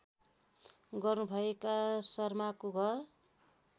गर्नुभएका शर्माको घर